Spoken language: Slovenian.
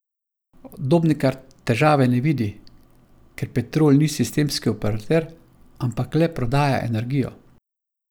Dobnikar težave ne vidi, ker Petrol ni sistemski operater, ampak le prodaja energijo.